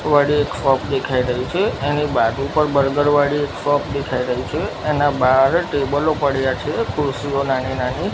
વાડી એક શોપ દેખાય રહી છે એની બાજુ પર બર્ગર વાડી એક શોપ દેખાય રહી છે એના બાર ટેબલો પડ્યા છે ખુરસીઓ નાની નાની--